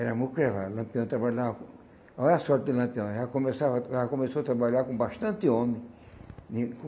Era muito mucrevá, Lampião trabalhava... Olha a sorte de Lampião, já começava já começou a trabalhar com bastante homem.